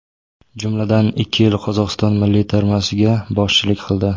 Jumladan, ikki yil Qozog‘iston milliy termasiga boshchilik qildi.